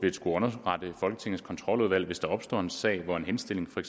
skulle underrette folketingets kontroludvalg hvis der opstår en sag hvor en henstilling fra